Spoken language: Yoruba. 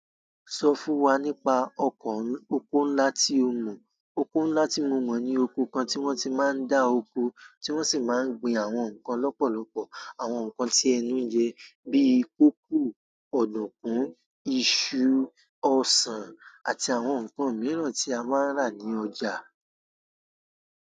Sọ fún wa nípa ọkọ̀ oko ńlá tí o mọ̀. Oko ńlá tí mo mọ̀ ni oko kan tí wọ́n ti máa ń dá oko, tí wọ́n sì máa ń gbin àwọn nǹkan lọ́pọ̀lọpọ̀. Àwọn nǹkan tí ẹnu jẹ, bíi kókù, ọ̀dùnkún, iṣu, ọsàn àti àwọn nǹkan mìíràn tí a máa ń rà ní ọjà.